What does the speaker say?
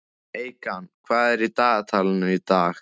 Eykam, hvað er í dagatalinu í dag?